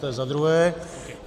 To je za druhé.